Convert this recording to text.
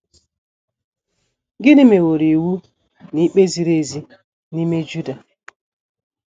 Gịnị meworo iwu na ikpe ziri ezi n’ime Juda?